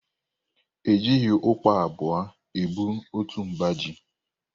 E jịghị ụkpa abụọ ebu otu mba ji.